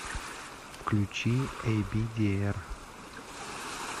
включи эйбидиэр